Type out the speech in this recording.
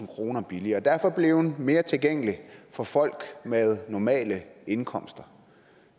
kroner billigere og derfor blevet mere tilgængelig for folk med normale indkomster